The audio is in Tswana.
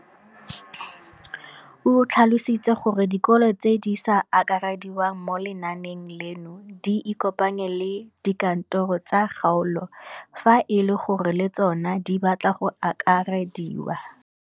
O tlhalositse gore dikolo tse di sa akarediwang mo lenaaneng leno di ikopanye le dikantoro tsa kgaolo fa e le gore le tsona di batla go akarediwa.